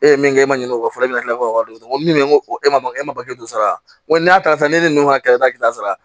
E ye min kɛ e ma ɲin'o kɔ fɔlɔ e bɛna kila k'o dɔn n ko min ko e ma e ma sara n ko n'a karisa ne ni ka taa ki ta sara